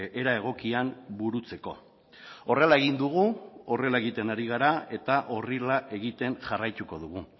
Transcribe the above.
era egokian burutzeko horrela egin dugu horrela egiten ari gara eta horrela egiten jarraituko dugu